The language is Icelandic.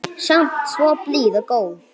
Samt svo blíð og góð.